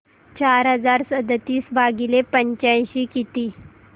चार हजार सदतीस भागिले पंच्याऐंशी किती